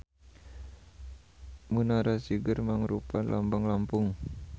Munara Siger mangrupa lambang Lampung.